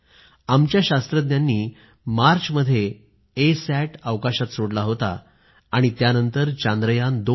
आमच्या शास्त्रज्ञांनी मार्चमध्ये ए सॅट अवकाशात सोडला होता आणि त्यानंतर चांद्रयान2